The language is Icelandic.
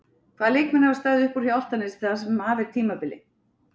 Hvaða leikmenn hafa staðið upp úr hjá Álftanesi það sem af er tímabili?